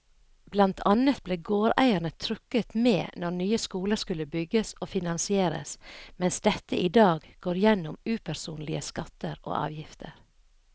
Blant annet ble gårdeierne trukket med når nye skoler skulle bygges og finansieres, mens dette i dag går gjennom upersonlige skatter og avgifter.